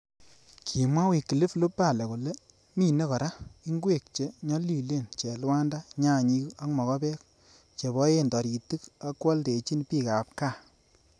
Kimwa Wyclif Lubale kole mine kora, Ingwek che nyolilen, Chelwanda, Nyanyik ak mokobek, che boen toritik agwoldechin bik ab gaa.